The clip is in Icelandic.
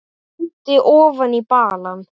Stundi ofan í balann.